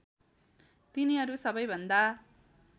तिनीहरू सबैभन्दा